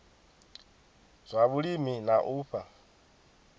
zwa vhulimi na u fha